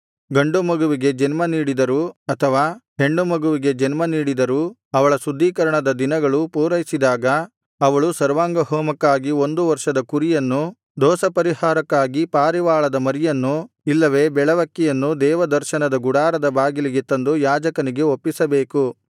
ಗಂಡುಮಗುವಿಗೆ ಜನ್ಮ ನೀಡಿದರೂ ಅಥವಾ ಹೆಣ್ಣುಮಗುವಿಗೆ ಜನ್ಮ ನೀಡಿದರೂ ಅವಳ ಶುದ್ಧೀಕರಣದ ದಿನಗಳು ಪೂರೈಸಿದಾಗ ಅವಳು ಸರ್ವಾಂಗಹೋಮಕ್ಕಾಗಿ ಒಂದು ವರ್ಷದ ಕುರಿಯನ್ನು ದೋಷಪರಿಹಾರಕ್ಕಾಗಿ ಪಾರಿವಾಳದ ಮರಿಯನ್ನು ಇಲ್ಲವೆ ಬೆಳವಕ್ಕಿಯನ್ನು ದೇವದರ್ಶನದ ಗುಡಾರದ ಬಾಗಿಲಿಗೆ ತಂದು ಯಾಜಕನಿಗೆ ಒಪ್ಪಿಸಬೇಕು